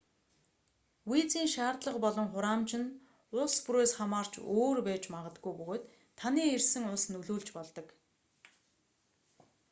визийн шаардлага болон хураамж нь улс бүрээс хамаарч өөр байж магадгүй бөгөөд таны ирсэн улс нөлөөлж болдог